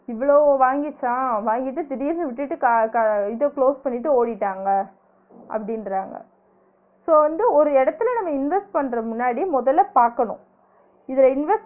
இவ்ளோ வாங்கிச்சா வாங்கிட்டு திடிர்னு விட்டுட்டு இத close பண்ணிட்டு ஓடிட்டாங்க அப்டின்றாங்க so வந்து ஒரு இடத்துல நம்ம invest பண்ணுற முன்னாடி முதல பாக்கணும் இதுல invest